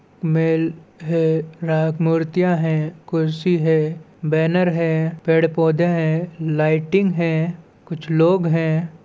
Mail है मूर्तियाँ है कुर्सी है बैनर है पेड़ -पौधे है लाईटिंग हैं कुछ लोग हैं।